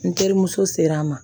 N terimuso sera a ma